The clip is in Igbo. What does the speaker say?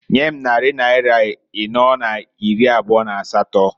Nyem nnarị naịra ịnọọ na iri abụọ n'asatọǃ